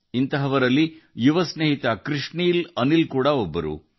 ಉದಾಹರಣೆಗೆ ಯುವ ಸ್ನೇಹಿತ ಕೃಷ್ಣ್ ಅನಿಲ್ ಜೀ ಅವರು